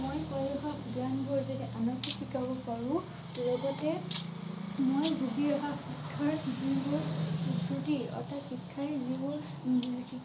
মই কৈ অহা জ্ঞান বোৰ যদি আনকো শিকাব পাৰোঁ লগতে মই ভুগি অহা শিক্ষাৰ অৰ্থাৎ শিক্ষাই যিবোৰ উম